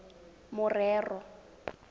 morero